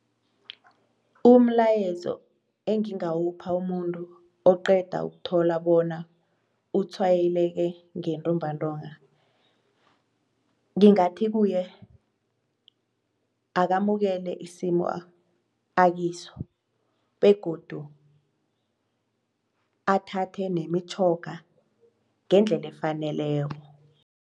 Umlayezo engingawupha umuntu oqeda ukuthola bona utshwayeleke ngentumbantonga. Ngingathi kuye akamukele isimo akiso begodu athathe nemitjhoga ngendlela efaneleko.